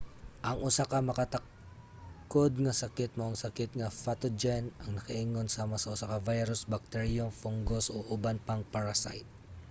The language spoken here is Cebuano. ang usa ka makatakod nga sakit mao ang sakit nga pathogen ang nakaingon sama sa usa ka virus bacterium fungus o uban pang parasite